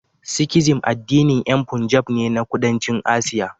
Sikhism addinin yan Punjab ne na Kudancin Asiya